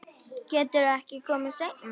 Geturðu ekki komið seinna?